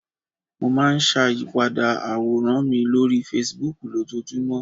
Mo máa n sàyípadà àwòrán mi lórí Fasibúùkù lójojúmọ̀